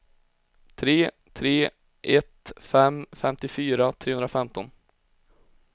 tre tre ett fem femtiofyra trehundrafemton